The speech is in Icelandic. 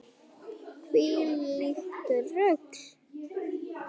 Hvílíkt rugl.